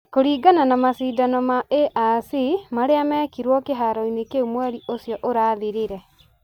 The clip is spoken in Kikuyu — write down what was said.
Kũringana na macindano ma ARC marĩa meekirũo kĩhaaro-inĩ kĩu mweri ũcio ũrathirire,